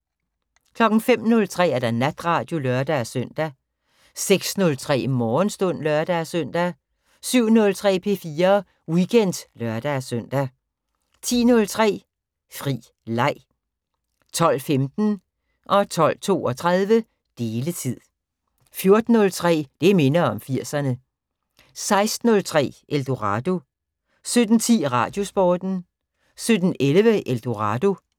05:03: Natradio (lør-søn) 06:03: Morgenstund (lør-søn) 07:03: P4 Weekend (lør-søn) 10:03: Fri Leg 12:15: Deletid 12:32: Deletid 14:03: Det minder om 80'erne 16:03: Eldorado 17:10: Radiosporten 17:11: Eldorado